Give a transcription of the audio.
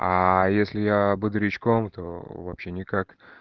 а если я бодрячком то вообще никак